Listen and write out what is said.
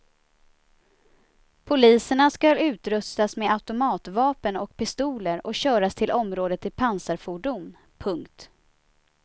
Poliserna skall utrustas med automatvapen och pistoler och köras till området i pansarfordon. punkt